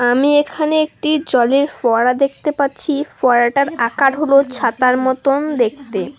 আমি এখানে একটি জলের ফোয়ারা দেখতে পাচ্ছি ফোয়ারাটার আকার হলো ছাতার মতন দেখতে।